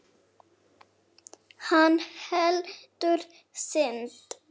Hann heldur synd